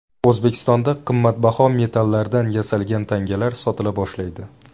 O‘zbekistonda qimmatbaho metallardan yasalgan tangalar sotila boshlaydi.